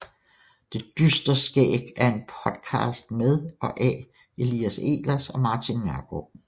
Det dystre skæg er en podcast med og af Elias Ehlers og Martin Nørgaard